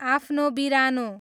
आफ्नो बिरानो